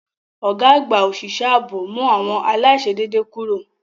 Ọ̀gá àgbà òṣìṣẹ́ ààbò mú àwọn aláìṣedéédé kúrò.